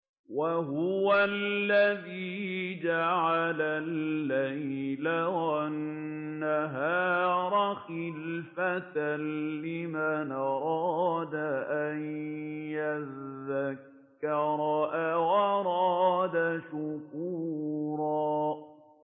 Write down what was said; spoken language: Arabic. وَهُوَ الَّذِي جَعَلَ اللَّيْلَ وَالنَّهَارَ خِلْفَةً لِّمَنْ أَرَادَ أَن يَذَّكَّرَ أَوْ أَرَادَ شُكُورًا